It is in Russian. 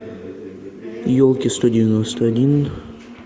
елки сто девяносто один